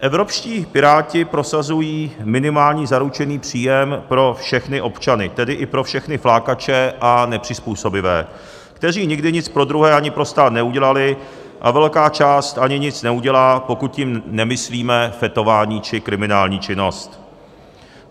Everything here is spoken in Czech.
Evropští Piráti prosazují minimální zaručený příjem pro všechny občany, tedy i pro všechny flákače a nepřizpůsobivé, kteří nikdy nic pro druhé ani pro stát neudělali, a velká část ani nic neudělá, pokud tím nemyslíme fetování či kriminální činnost.